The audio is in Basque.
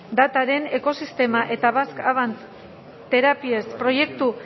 datuaren ekosistema eta basque advanced therapies proiektu